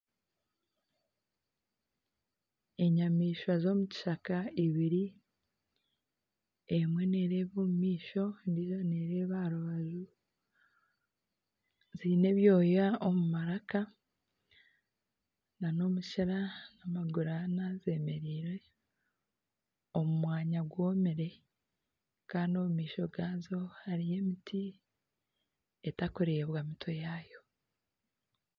Enyamaishwa z'omu kishaka eibiri, emwe nereeba omumaisho endijo nereeba aha rubaju ziine ebyooya omu maraka na n'omukira n'amaguru ana zemereire omu mwanya gwomire kandi omumaisho gaazo hariyo emiti etakureebwa mitwe yaayo.